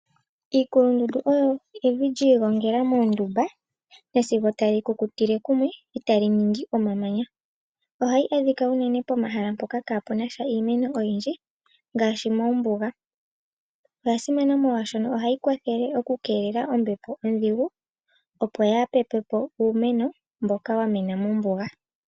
Iinkulundundu oyo evi lyiigongela mondumba nasigo tali kukutile kumwe eta li ningi omamanya. Ohayi adhika unene pomahala mpoka kapunasha iimeno oyindji ngaashi moombuga. Oyasimana molwashoka ohayi kwathele oku kelele ombepo ondhigu opo ya pepepo uumeno mboka wa mena moombuga.